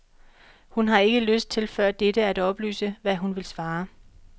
Hun har ikke lyst til før dette at oplyse, hvad hun vil svare.